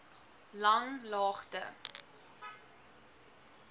langlaagte